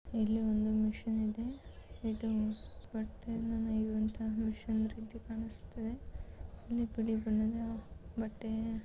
ಇಲ್ಲಿ ಒಂದು ಮಿಷನನ್ ಇದೇ ಬಟ್ಟೆಯ ನೆಯುವಂತ ಮಿಷನ್ ರೀತಿ ಕಾಣಸ್ತಿದೆ ಇಲ್ಲಿ ಬಿಳೀ ಬಣದ ಬಟ್ಟೆ --